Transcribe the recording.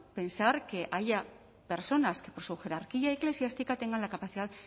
pensar que haya personas que por su jerarquía eclesiástica tengan la capacidad